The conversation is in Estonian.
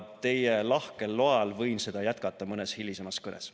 Teie lahkel loal võin seda jätkata mõnes hilisemas kõnes.